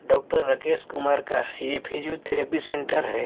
Doctor Rakesh Kumar का है physiotherapy centre है।